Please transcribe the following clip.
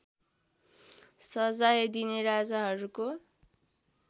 सजाय दिने राजाहरूको